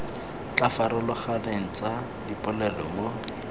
di farologaneng tsa dipolelo mo